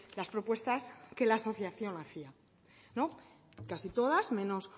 las propuestas que la asociación hacía no casi todas menos